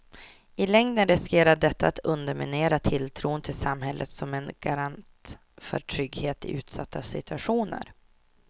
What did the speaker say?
I längden riskerar detta att underminera tilltron till samhället som en garant för trygghet i utsatta situationer.